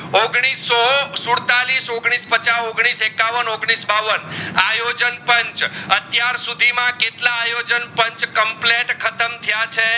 ઓગણીસો સુડતાલીસ ઓગણીસો પાચા ઓગણીસ એકાવન ઓગણીસ બાવન આયોજાણ પાંચ અતિયાર સુધી માં કેટલા આયોજેન પાંચ કોમ્પલેટ ખતમ થયા છે